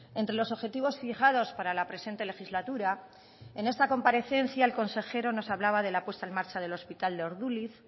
entre los objetivos fijados para la presente legislatura en esta comparecencia el consejero nos hablaba de la puesta en marcha del hospital de urduliz